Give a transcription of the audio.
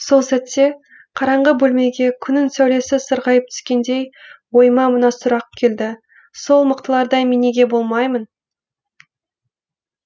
сол сәтте қараңғы бөлмеге күннің сәулесі сығырайып түскендей ойыма мына сұрақ келді сол мықтылардай мен неге болмаймын